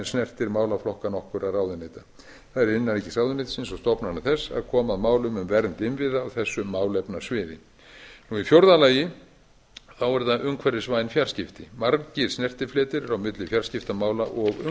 snertir málaflokka nokkurra ráðuneyta það er innanríkisráðuneytisins og stofnana þess að koma að málum um vernd innviða á þessu málefnasviði fjórða umhverfisvæn fjarskipti margir snertifletir eru á milli fjarskiptamála og